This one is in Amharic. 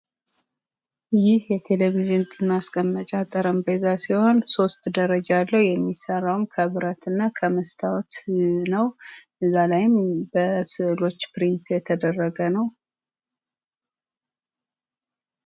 ይህ የቴሌቪዥን ማስቀመጫ ጠረንጴዛ ሲሆን ሶስት ደረጃ አለው። የሚስራውም ከብረት እና ከመስታዎት ነው። እዛ ላይም በስዕሎች ፕሪንት የተደረገ ነው።